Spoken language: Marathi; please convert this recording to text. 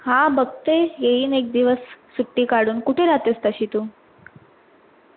हा बघते येईन एक दिवस सुट्टी काडुन कुठे राहतेस तशी तू?